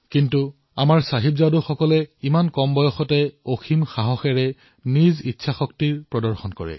কিন্তু আমাৰ চাহিবজাদেয়ে নিচেই কম বয়সতেই সাংঘাটিক সাহস দেখুৱালে ইচ্ছাশক্তি দেখুৱালে